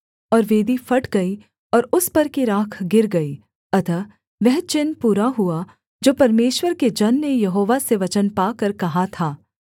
और वेदी फट गई और उस पर की राख गिर गई अतः वह चिन्ह पूरा हुआ जो परमेश्वर के जन ने यहोवा से वचन पाकर कहा था